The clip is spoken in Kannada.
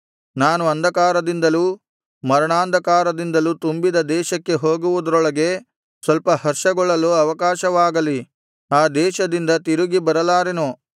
ನಾನು ಅಂಧಕಾರದಿಂದಲೂ ಮರಣಾಂಧಕಾರದಿಂದಲೂ ತುಂಬಿದ ದೇಶಕ್ಕೆ ಹೋಗುವುದರೊಳಗೆ ಸ್ವಲ್ಪ ಹರ್ಷಗೊಳ್ಳಲು ಅವಕಾಶವಾಗಲಿ ಆ ದೇಶದಿಂದ ತಿರುಗಿ ಬರಲಾರೆನು